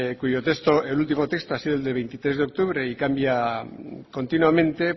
cuyo texto el ultimo texto ha sido el de veintitrés de octubre y cambia continuamente